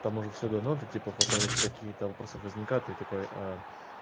там уже всё дано ты типа потом если у тебя какие-то вопросы возникают ты такой